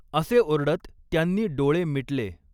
असे ओरडत त्यांनी डोळे मिटले.